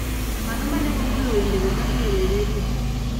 ng'ano mane ogolo wendego ka iwero e redio